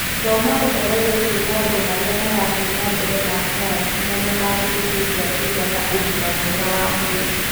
Thoma ũhoro wĩgiĩ maũndũ marĩa marathiĩ na mbere ma sayansi marĩa mangĩgũteithia kũgĩa na ũgima mwega wa mwĩrĩ.